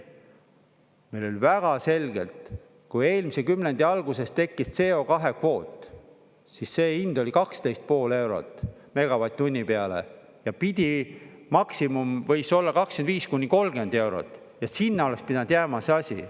Meil oli väga selgelt, kui eelmise kümnendi alguses tekkis CO2 kvoot, siis see hind oli 12,5 eurot megavatt-tunni peale ja maksimum võis olla 25–30 eurot ja sinna oleks pidanud jääma see asi.